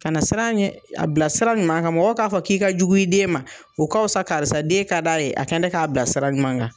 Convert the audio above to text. Ka na siran a ɲɛ, a bilasira ɲuman kan mɔgɔw k'a fɔ k'i ka jugu i den ma, o ka wusa karisa den ka d'a ye, a kɛn dɛ k'a bila sira ɲuman kan.